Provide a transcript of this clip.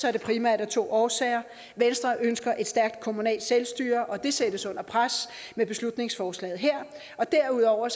er det primært af to årsager venstre ønsker et stærkt kommunalt selvstyre og det sættes under pres med beslutningsforslaget her og derudover